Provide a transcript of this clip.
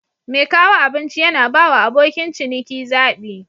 Mai kawo abinci yana bawa abokin ciniki zabi.